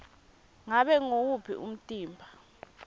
ngabe nguwuphi umtimba